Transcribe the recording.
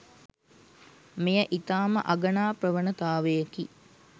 මෙය ඉතා ම අගනා ප්‍රවණතාවයකි.